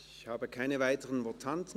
Es gibt keine weiteren Votanten.